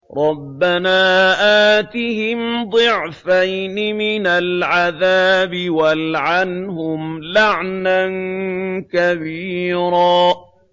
رَبَّنَا آتِهِمْ ضِعْفَيْنِ مِنَ الْعَذَابِ وَالْعَنْهُمْ لَعْنًا كَبِيرًا